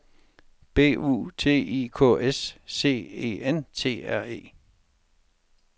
B U T I K S C E N T R E